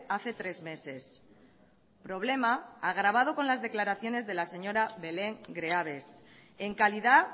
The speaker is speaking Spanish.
hace tres meses problema agravado con las declaraciones de la señora belén greaves en calidad